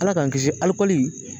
Ala k'an kisi alikɔli